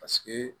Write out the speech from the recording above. Paseke